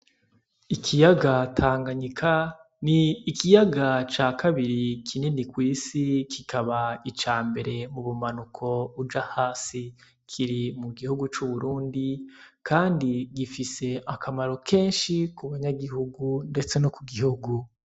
Ikiyaga tanganyika ni ikiyaga ca kabiri kinini kw'isi kikaba ica mbere mu bumanuko uja hasi kiri mu gihugu c'uburundi, kandi gifise akamaro kenshi ku banyagihugu, ndetse no ku gihugu.